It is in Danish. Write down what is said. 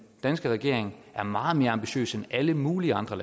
danske regering er meget mere ambitiøs end alle mulige andre